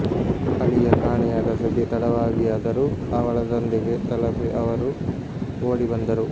ಅಳಿಯ ಕಾಣೆಯಾದ ಸುದ್ದಿ ತಡವಾಗಿಯಾದರೂ ಅವಳ ತಂದೆಗೆ ತಲಪಿ ಅವರು ಓಡಿ ಬಂದರು